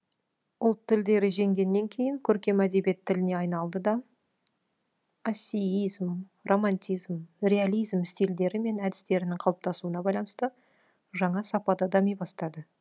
ұлт тілдері женгеннен кейін көркем әдебиет тіліне айналды да ассииизм романтизм реализм стильдері мен әдістерінің қалыптасуына байланысты жаңа сапада дами бастады